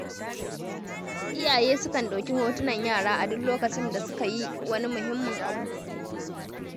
Iyaye sukan ɗauki hotunan yara a duk lokacin da suka yi wani muhimmin abu.